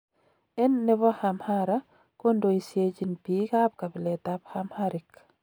En nebo Amhara kondoisiechin biik ab kabilet ab Amharic.